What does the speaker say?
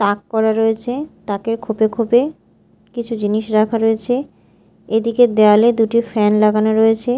তাক করা রয়েছে তাকে খোপে খোপে কিছু জিনিস রাখা রয়েছে এদিকের দেয়ালে দুটি ফ্যান লাগানো রয়েছে।